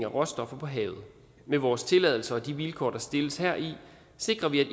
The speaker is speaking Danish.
råstoffer på havet med vores tilladelser og de vilkår der stilles heri sikrer vi at